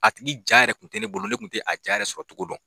A tigi ja yɛrɛ tun tɛ ne bolo ne tun tɛ a ja yɛrɛ sɔrɔcogo dɔn